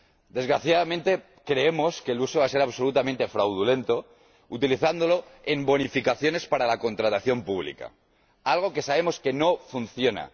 Desgraciadamente, creemos que el uso va a ser absolutamente fraudulento, utilizando los recursos en bonificaciones para la contratación pública —algo que sabemos que no funciona—.